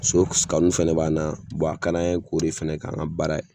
So kanu fɛnɛ b'an na bɔn a ka d'an ye k'o de fɛnɛ k'an ka baara ye